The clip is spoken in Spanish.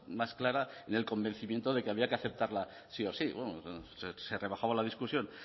más clara en el convencimiento de que había que aceptarla sí o sí se rebajaba la discusión